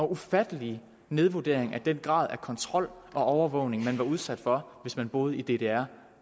ufattelig nedvurdering af den grad af kontrol og overvågning man var udsat for hvis man boede i ddr